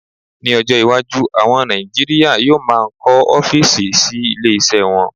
Ní ọjọ́ iwájú, àwọn Nàìjíríà yóò máà ń kọ́ ọ́físì sí ilé iṣẹ́ wọn